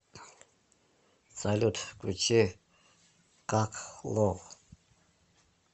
салют включи ках ло